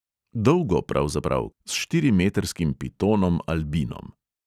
Dolgo, pravzaprav, s štirimetrskim pitonom albinom!